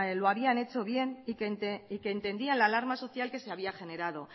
lo habían hecho bien y que entendía la alarma social que se había generado